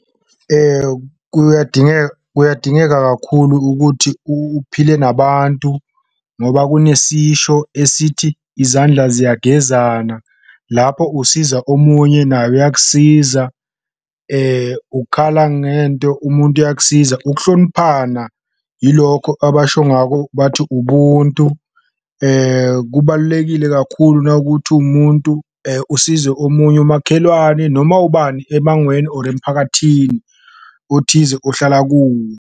Kuyadingeka kuyadingeka kakhulu ukuthi uphile nabantu ngoba kunesisho esithi, izandla ziyagezana, lapho usiza omunye naye uyakusiza, ukhala ngento umuntu uyakusiza. Ukuhloniphana yilokho abasho ngako bathi ubuntu, kubalulekile kakhulu nakuthi uwumuntu usize omunye umakhelwane noma ubani emangweni or emphakathini othize ohlala kuwo.